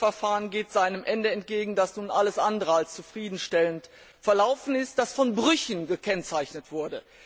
Ein Haushaltsverfahren geht seinem Ende entgegen, das nun alles andere als zufriedenstellend verlaufen ist, das von Brüchen gekennzeichnet war.